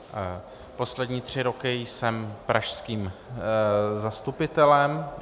Poslední tři roky jsem pražským zastupitelem.